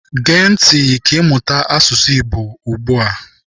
Gee ntị ka ịmụta asụsụ Igbo ugbu a.